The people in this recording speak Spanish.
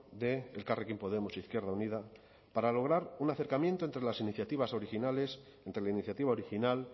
de elkarrekin podemos izquierda unida para lograr un acercamiento entre las iniciativas originales entre la iniciativa original